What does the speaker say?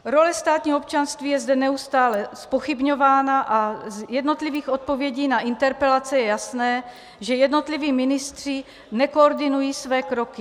Role státního občanství je zde neustále zpochybňována a z jednotlivých odpovědí na interpelace je jasné, že jednotliví ministři nekoordinují své kroky.